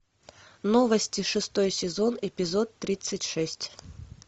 новости шестой сезон эпизод тридцать шесть